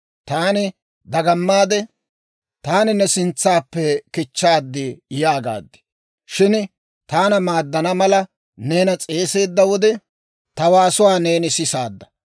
Taani dagamaade, «Taani ne sintsaappe kichchaad» yaagaad. Shin taana maaddana mala, neena s'eeseedda wode, ta waasuwaa neeni sisaadda.